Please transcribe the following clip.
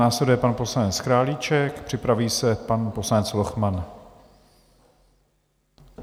Následuje pan poslanec Králíček, připraví se pan poslanec Lochman.